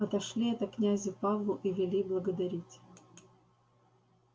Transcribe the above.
отошли это князю павлу и вели благодарить